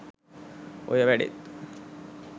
ඔය වැඩෙත්